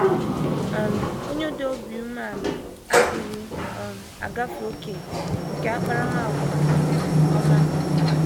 um Onye dị obi umeala adịghị um agafe ókè nke nke akparamàgwà um ọma.